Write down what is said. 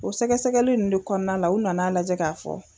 O sɛgɛsɛgɛli nunnu de kɔnɔna la, u nana a lajɛ k'a fɔ.